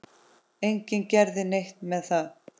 Enginn gerði neitt með það.